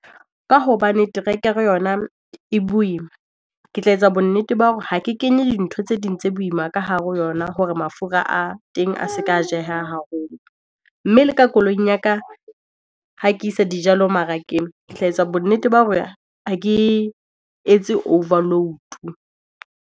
Ka hobane terekere yona e boima, ke tla etsa bonnete ba hore ha ke kenye dintho tse ding tse boima ka hare ho yona hore mafura a teng a se ka jeha haholo. Mme le ka koloing ya ka ha ke isa dijalo marekeng. Ke tla etsa bonnete ba hore ha ke etse overload.